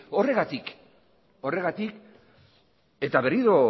horregatik horregatik eta berriro